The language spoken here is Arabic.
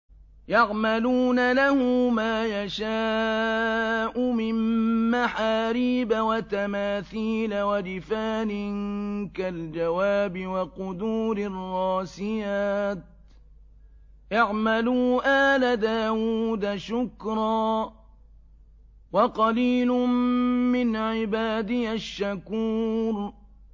يَعْمَلُونَ لَهُ مَا يَشَاءُ مِن مَّحَارِيبَ وَتَمَاثِيلَ وَجِفَانٍ كَالْجَوَابِ وَقُدُورٍ رَّاسِيَاتٍ ۚ اعْمَلُوا آلَ دَاوُودَ شُكْرًا ۚ وَقَلِيلٌ مِّنْ عِبَادِيَ الشَّكُورُ